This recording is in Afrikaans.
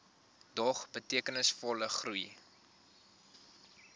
dog betekenisvolle groei